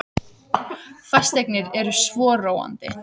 Fasteignir eru svo róandi.